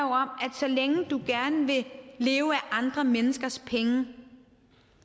så længe du gerne vil leve af andre menneskers penge